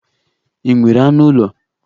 Ị nwere anụ ụlọ?